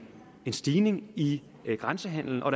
stigning i grænsehandelen og